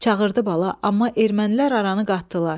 Çağırdı bala, amma ermənilər aranı qatdılar.